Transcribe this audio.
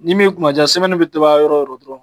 Ni min kumaja bi to ban yɔrɔ o yɔrɔ dɔrɔn